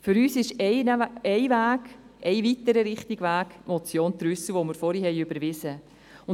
Für uns ist ein weiterer richtiger Weg die Motion Trüssel, die wir vorhin überwiesen haben.